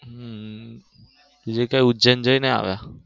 હમ બીજે કઈ ઉજ્જૈન જય ને આવ્યા?